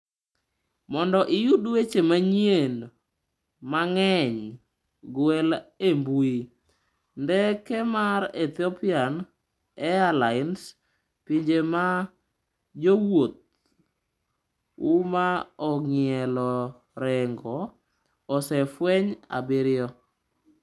Mondo iyud weche manyien mang'eny, gwel e mbui: Ndege mar Ethiopian Airlines: Pinje ma jowuoth w ma ong'ielo rengo osefweny abiriyo.